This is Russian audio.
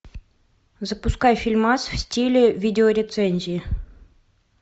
запускай фильмас в стиле видео рецензии